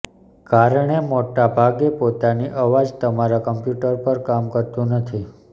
કારણે મોટા ભાગે પોતાની અવાજ તમારા કમ્પ્યુટર પર કામ કરતું નથી